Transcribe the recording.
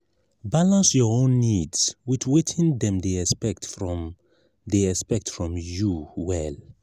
balance your own needs with wetin dem dey expect from dey expect from you well.